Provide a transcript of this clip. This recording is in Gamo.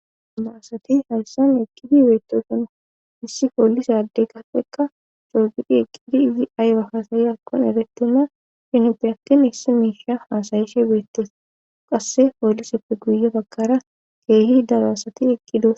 Daro asati haysan ekkidi beetoson hissi poolisa adde gafekka coogidi eqqidi izi aywa haasayi akkon erettina chinipe aktin hissi miisha haasayishe beettes qasse pooliseppe guyefakara keehi daraasati eqqidos